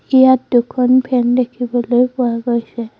ইয়াত দুখন ফেন দেখিবলৈ পোৱা গৈছে।